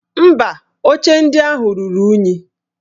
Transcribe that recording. Mba, oche ndị ahụ ruru unyi